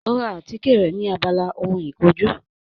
Ó ra àtíkè rẹ̀ ni abala ohun ìkojú